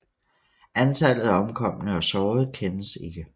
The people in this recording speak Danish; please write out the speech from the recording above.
Antallet af omkomne og sårede kendes ikke